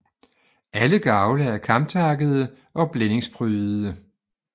Alle gavle er kamtakkede og blændingsprydede